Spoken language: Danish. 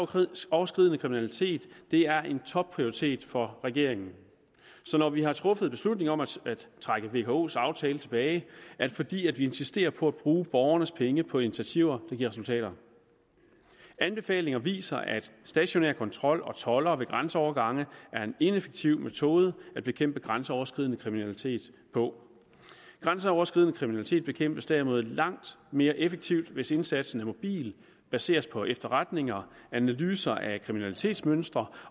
grænseoverskridende kriminalitet er en topprioritet for regeringen så når vi har truffet beslutning om at trække vkos aftale tilbage er det fordi vi insisterer på at bruge borgernes penge på initiativer der giver resultater anbefalinger viser at stationær kontrol og toldere ved grænseovergange er en ineffektiv metode at bekæmpe grænseoverskridende kriminalitet på grænseoverskridende kriminalitet bekæmpes derimod langt mere effektivt hvis indsatsen er mobil baseres på efterretninger analyser af kriminalitetsmønstre